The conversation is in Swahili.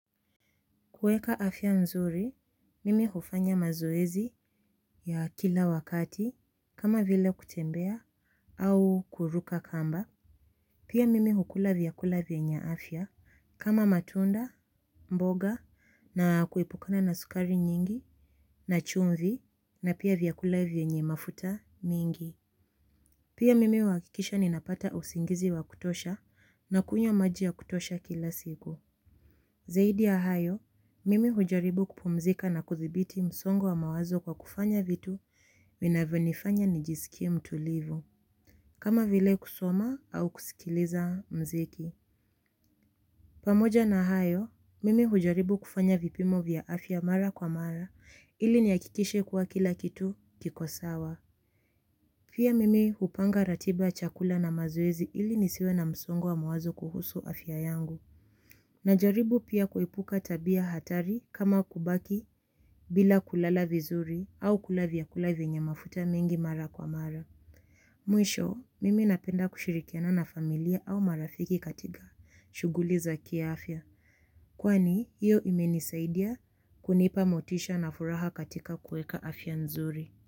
Kueka afya nzuri, mimi hufanya mazoezi ya kila wakati kama vile kutembea au kuruka kamba. Pia mimi hukula vyakula vyenye afya kama matunda, mboga na kuepukana na sukari nyingi na chumvi napia vyakula vienye mafuta mingi. Pia mimi uakikisha ninapata usingizi wa kutosha na kunywa maji ya kutosha kila sigu. Zaidi ya hayo, mimi hujaribu kupumzika na kuthibiti msongo wa mawazo kwa kufanya vitu vinavyo nifanya nijisikie mtulivu. Kama vile kusoma au kusikiliza mziki. Pamoja na hayo, mimi hujaribu kufanya vipimo vya afya mara kwa mara ili niakikishe kwa kila kitu kiko sawa. Pia mimi hupanga ratiba ya chakula na mazoezi ili nisiwe na msongo wa mawazo kuhusu afya yangu. Najaribu pia kuepuka tabia hatari kama kubaki bila kulala vizuri au kula vyakula vyenye mafuta mingi mara kwa mara. Mwisho, mimi napenda kushirikiana na familia au marafiki katika shuguli za kiafya. Kwani, iyo imenisaidia kunipa motisha na furaha katika kueka afya nzuri.